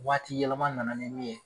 Waati yɛlɛma nana ni min ye.